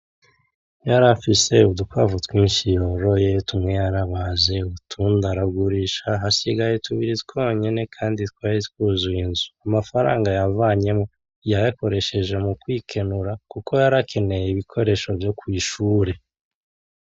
Yarafise udukwavu twinshi. Boroye tumwe yarabaze, utundi aragurisha hasigaye tubiri twonyene. Kandi twari twuzuye inzu. Amafaranga yavanyemwo yayakoresheje mukwikenura, kuko yarakeneye ibikoresho vyo kwishure.